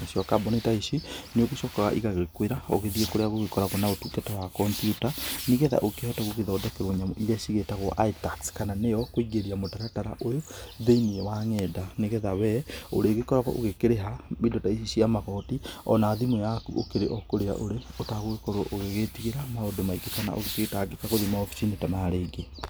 nacio kambũni ta ici nĩ ũgĩcokaga ĩgagĩkwĩra ũgĩthiĩ kũrĩa gũgĩkoragwo na ũtungata wa kompyuta nĩgetha ũkĩhote gũgĩthondekerwo nyamũ iria cigĩtagwo itax kana nĩyo kũingĩria mũtaratara ũyũ, thĩ-inĩ wa ng'enda nĩgetha we, ũrĩgĩkoragwo ũgĩkĩrĩha indo ici ta cia magoti, ona thimũ yaku ũkĩrĩ o kũrĩa ũrĩ, ũtagũgĩkorwo ũgĩgĩtigĩra maũndũ maingĩ kana ũgĩgĩtangĩka gũthiĩ maobici-inĩ ta maya rĩngĩ.